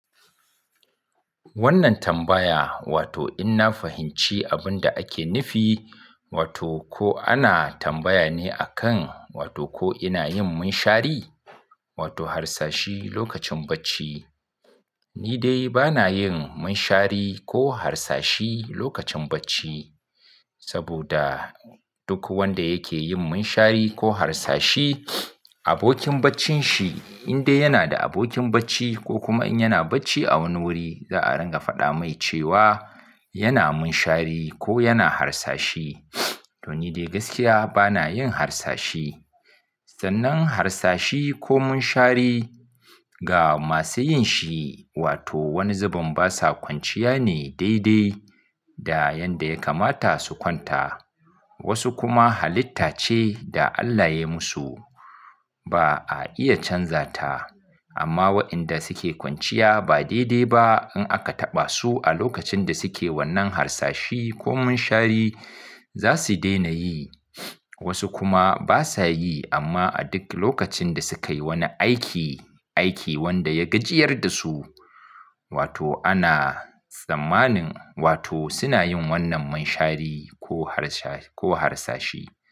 Wannan tambaya wato in na fahimci abin da ake nufi wato ko ana tambaya ne a kan wato ko ina yin munshari wato harsashi lokacin bacci? Ni dai ba na yin munshari ko harsashi lokacin bacci. Saboda duk wanda yake yin munshari ko harsashi, abokin baccin shi in dai yana da abokin bacci ko kuma in yana bacci a wani wuri za a ringa faɗa mai cewa yana munshari ko yana harsashi. To ni dai gaskiya ba na yin harsashi. Sannan harsashi ko munshari ga masu yin shi wato wani zubin basa kwanciya ne daidai da yadda ya kamata su kwanta. Wasu kuma halitta ce da Allah ya yi musu ba a iya canza ta. Amma waɗanda suke kwanciya ba daidai ba in aka taɓa su a lokacin da suke wannan harsashi ko munshari za su daina yi. Wasu kuma basa yi amma a duk lokacin da sukayi wani aiki, aiki wanda ya gajiyar da su wato ana tsammanin wato suna yin wannan munshari ko harsashi.